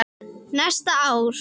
Næsta ár?